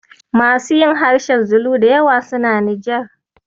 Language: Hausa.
Masu yin harshen zulu da yawa suna Nijar.